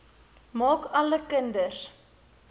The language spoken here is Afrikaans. maak alle kinders